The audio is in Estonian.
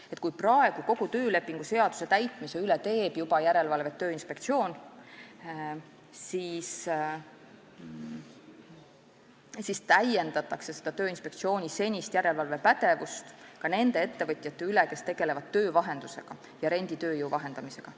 Kui juba praegu teeb kogu töölepingu seaduse täitmise üle järelevalvet Tööinspektsioon, siis nüüd täiendatakse Tööinspektsiooni senist järelevalvepädevust ka nende ettevõtjate üle, kes tegelevad töövahenduse ja renditööjõu vahendamisega.